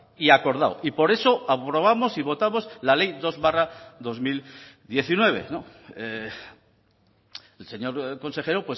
y acordado y por eso aprobamos y votamos la ley dos barra dos mil diecinueve el señor consejero